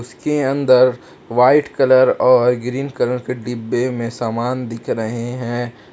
के अंदर white colour और ग्रीन कलर के डिब्बे में सामान दिख रहे हैं।